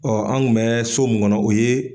an kun mɛ so mun kɔnɔ o ye